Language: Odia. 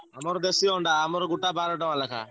ଆମରଦେଶୀ ଅଣ୍ଡା ଗୁଟା ବାର ଟଙ୍କା ଲେଖାଁ।